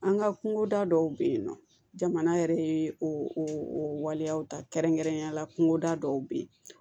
An ka kungoda dɔw bɛ yen nɔ jamana yɛrɛ ye o waleyaw ta kɛrɛnkɛrɛnnenyala kungoda dɔw be yen